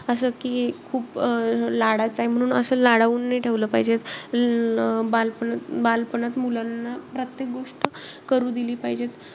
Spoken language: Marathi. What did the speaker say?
असं की खूप अं लाडाचा आहे म्हणून असं लाडावून नई ठेवलं पाहिजे. अं बालपणात~ बालपणात मुलांना प्रत्येक गोष्ट करू दिली पाहिजेत.